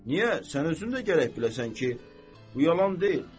Niyə sən özün də gərək biləsən ki, bu yalan deyil.